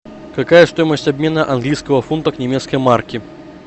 какая стоимость обмена английского фунта к немецкой марке